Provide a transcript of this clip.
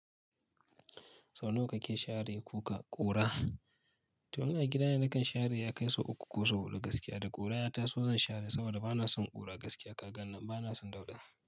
Sau nawa kake share kuka ƙura? To ina gida na kan share ya kai sau uku ko sau huɗu gaskiya, da ƙura ya taso zan share saboda bana son ƙura gaskiya. Kakan nan bana son dauɗa.